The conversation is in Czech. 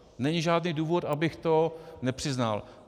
Není žádný důvod, abych to nepřiznal.